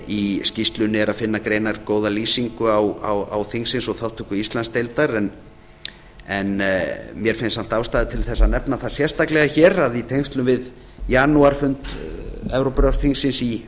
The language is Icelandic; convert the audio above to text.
að í skýrslunni er að finna greinargóða lýsingu þingsins og þátttöku íslandsdeildar en mér finnst samt ástæða til þess að nefna það sérstaklega hér að í tengslum við janúarfund evrópuráðsþingsins í